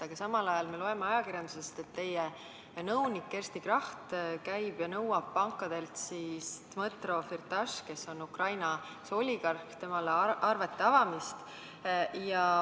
Aga samal ajal me loeme ajakirjandusest, et teie nõunik Kersti Kracht käib ja nõuab pankadelt Dmõtro Firtašile, kes on Ukraina oligarh, arvete avamist.